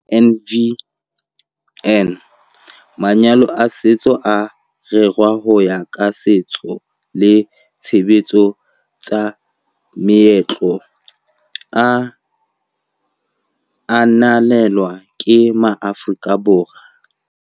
MvN- Manyalo a setso a rerwa ho ya ka setso le ditshebetso tsa meetlo e ananelwang ke maAforika Borwa.